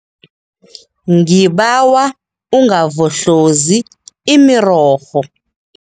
Ngibawa ungavohlozi imirorho.